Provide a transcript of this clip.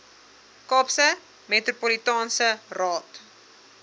kaapse metropolitaanse raad